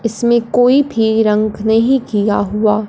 इसमें कोई भीं रंक नहीं किया हुआ--